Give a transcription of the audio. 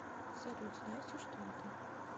салют знаете что это